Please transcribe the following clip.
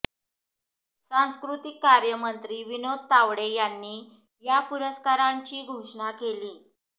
सांस्कृतिक कार्यमंत्री विनोद तावडे यांनी या पुरस्कारांची घोषणा केली